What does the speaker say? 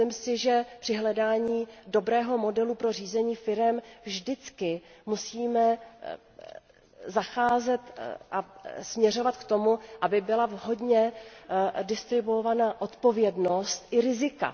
Myslím si, že při hledání dobrého modelu pro řízení firem vždycky musíme zacházet a směřovat k tomu, aby byla vhodně distribuovaná odpovědnost i rizika.